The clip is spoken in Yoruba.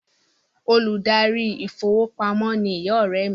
The bank manager is my friend's mother